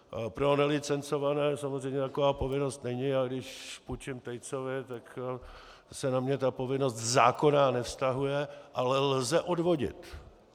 Pro nelicencované samozřejmě taková povinnost není, a když půjčím Tejcovi, tak se na mě ta povinnost zákonná nevztahuje, ale lze odvodit.